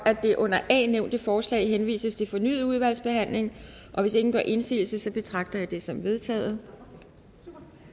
det under a nævnte forslag henvises til fornyet udvalgsbehandling hvis ingen gør indsigelse betragter jeg det som vedtaget